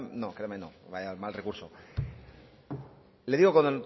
le digo con